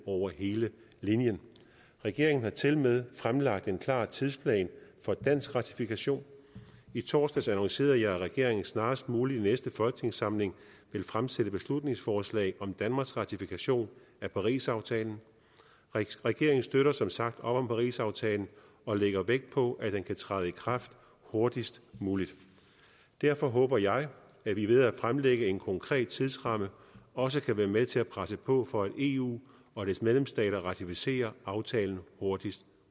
over hele linjen regeringen har tilmed fremlagt en klar tidsplan for dansk ratifikation i torsdags annoncerede jeg at regeringen snarest muligt i næste folketingssamling vil fremsætte beslutningsforslag om danmarks ratifikation af parisaftalen regeringen støtter som sagt op om parisaftalen og lægger vægt på at den kan træde i kraft hurtigst muligt derfor håber jeg at vi ved at fremlægge en konkret tidsramme også kan være med til at presse på for at eu og dets medlemsstater ratificerer aftalen hurtigst